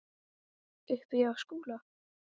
Uppi í skóla?